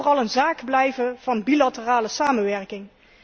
Laat het vooral een zaak blijven van bilaterale samenwerking.